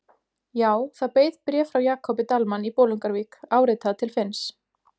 Já, það beið bréf frá Jakobi Dalmann í Bolungarvík, áritað til Finns.